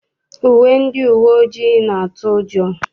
Uwe ndị uwe ojii na-atụ ụjọ.